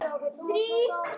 Sama þurfi bændur að gera.